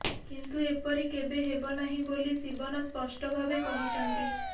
କିନ୍ତୁ ଏପରି କେବେ ହେବ ନାହିଁ ବୋଲି ଶିବନ ସ୍ପଷ୍ଟ ଭାବେ କହିଛନ୍ତି